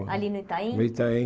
Ali no Itaim? No Itaim